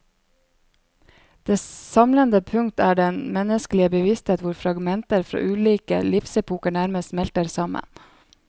Det samlende punktet er den menneskelige bevissthet hvor fragmenter fra ulike livsepoker nærmest smelter sammen.